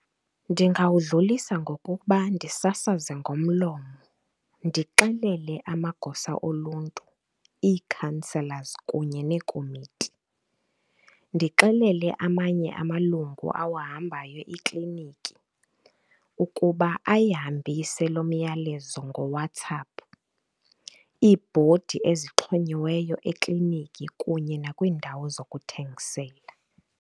Ndingawudlulisa ngokuba ndisasaze ngomlomo, ndixelele amagosa oluntu, ii-councilors kunye neekomiti, ndixelele amanye amalungu owuhambayo ikliniki ukuba ayihambise lo myalezo ngoWhatsapp, iibhodi ezixhonyiweyo ekliniki kunye nakwiindawo zokuthengisela.